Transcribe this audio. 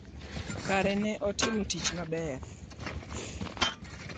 Ker ne otimo tich maber ahinya.